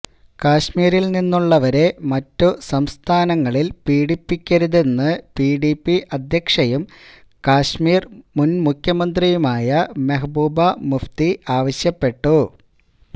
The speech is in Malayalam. കശ്മീരില് നിന്നുള്ളവരെ മറ്റു സംസ്ഥാനങ്ങളില് പീഡിപ്പിക്കരുതെന്ന് പിഡിപി അധ്യക്ഷയും കശ്മീര് മുന്മുഖ്യമന്ത്രിയുമായ മെഹ്ബൂബ മുഫ്തി ആവശ്യപ്പെട്ടു